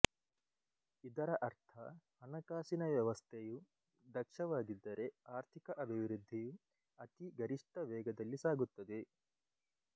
ಇದರ ಅರ್ಥ ಹಣಕಾಸಿನ ವ್ಯವಸ್ಥೆಯು ದಕ್ಷವಾಗಿದ್ದರೆ ಆರ್ಥಿಕ ಅಭಿವೃದ್ಧಿಯು ಅತಿ ಗರಿಷ್ಠ ವೇಗದಲ್ಲಿ ಸಾಗುತ್ತದೆ